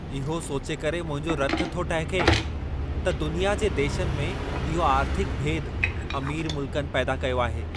इहो सोचे करे मुंहिंजो रतु थो टहिके, त दुनिया जे देशनि में इहो आर्थिक भेदु अमीर मुल्कनि पैदा कयो आहे।